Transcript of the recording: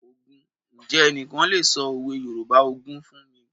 Ǹjẹ́ ẹnikẹ́ni lè sọ òwe Yorùbá ogún fún mi?